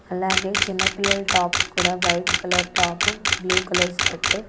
అలాగే చిన్న పిల్లల టాప్స్ కూడా white colour top blue colours skirt .